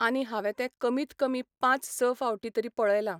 आनी हांवें तें कमीत कमीत पांच स फावटी तरी पळयलां.